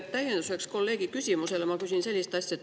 Täienduseks kolleegi küsimusele ma küsin sellist asja.